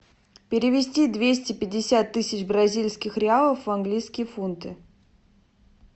перевести двести пятьдесят тысяч бразильских реалов в английские фунты